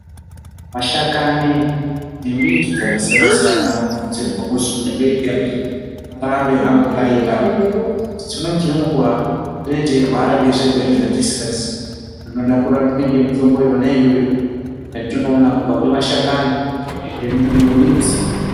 Mashakani nembiti dzakasiyanasiyana anokurudzirwa kuti munhu wega wega arambe amboraira , dzimweni dzenguwa teteirwara ngezvirwere zvatisingaziyi zvinoda kurapwe nemitombo yona iyoyo yationoona kubva kumashakani nemidzi.